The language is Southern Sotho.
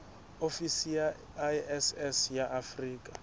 ofisi ya iss ya afrika